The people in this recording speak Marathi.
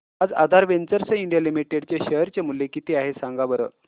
आज आधार वेंचर्स इंडिया लिमिटेड चे शेअर चे मूल्य किती आहे सांगा बरं